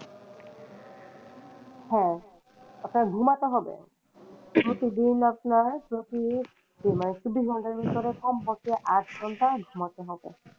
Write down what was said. হ্যাঁ আপনার ঘুমাতে হবে যতদিন আপনার মানে চব্বিশ ঘণ্টার মধ্যে কমপক্ষে আট ঘণ্টা ঘুমাতে হবে।